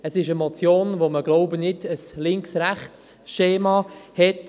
Es ist eine Motion, bei der man, glaube ich, kein Links-Rechts-Schema hat.